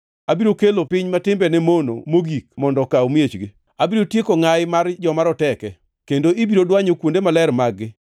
Abiro kelo piny ma timbene mono mogik mondo okaw miechgi. Abiro tieko ngʼayi mar joma roteke, kendo ibiro dwanyo kuonde maler mag-gi.